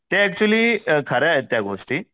ते ऍक्च्युली खऱ्या आहेत त्या गोष्टी